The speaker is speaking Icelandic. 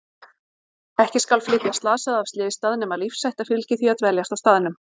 Ekki skal flytja slasaða af slysstað nema lífshætta fylgi því að dveljast á staðnum.